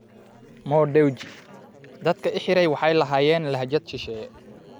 Mo Dewji: Dadka i xiray waxay lahaayeen lahjad shisheeye